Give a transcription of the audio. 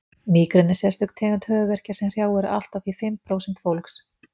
mígreni er sérstök tegund höfuðverkja sem hrjáir allt að því fimm prósent fólks